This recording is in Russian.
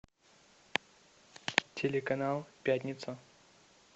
телеканал пятница